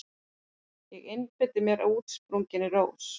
Ég einbeiti mér að útsprunginni rós.